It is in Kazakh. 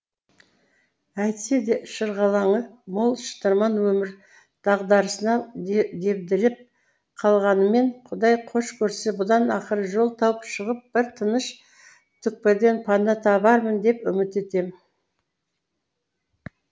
әйтсе де шырғалаңы мол шытырман өмір дағдарысында дебдіреп қалғаныммен құдай хош көрсе бұдан ақыры жол тауып шығып бір тыныш түкпірден пана табармын деп үміт етем